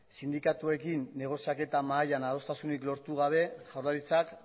sindikatuekin negoziaketa mahaian adostasunik lortu gabe jaurlaritzak